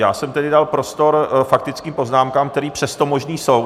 Já jsem tedy dal prostor faktickým poznámkám, které přesto možné jsou.